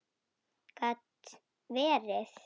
Gat verið!